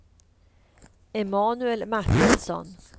Emanuel Martinsson